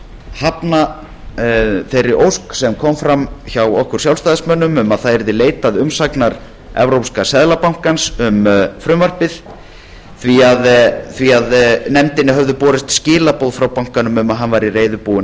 hafna þeirri ósk sem kom fram hjá okkur sjálfstæðismönnum um að leitað yrði umsagnar evrópska seðlabankans um frumvarpið því að nefndinni höfðu borist skilaboð frá bankanum um að hann væri reiðubúinn